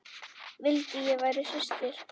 Vildi ég væri systir.